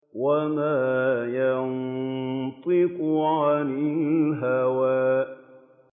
وَمَا يَنطِقُ عَنِ الْهَوَىٰ